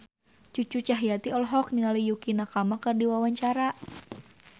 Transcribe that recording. Cucu Cahyati olohok ningali Yukie Nakama keur diwawancara